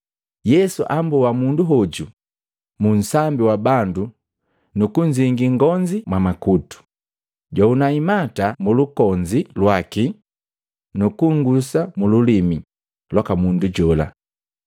Yesu amboa mundu hoju munsambi wa bandu nu kunzingii ngonzi mwamakutu, jwahuna imata mulungonzi lwaki nu kuungusa mululimi lwaka mundu jola.